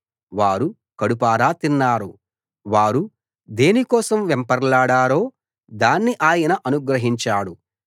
వారు కడుపారా తిన్నారు వారు దేని కోసం వెంపర్లాడారో దాన్ని ఆయన అనుగ్రహించాడు